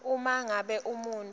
uma ngabe umuntfu